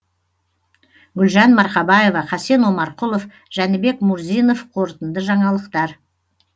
гүлжан марқабаева хасен омарқұлов жәнібек мурзинов қорытынды жаңалықтар